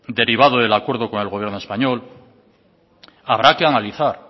derivado del acuerdo con el gobierno español habrá que analizar